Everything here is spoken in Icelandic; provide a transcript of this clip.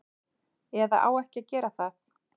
Eða á ekki að gera það.